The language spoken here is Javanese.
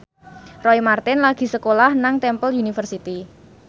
Roy Marten lagi sekolah nang Temple University